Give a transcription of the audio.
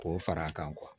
K'o fara a kan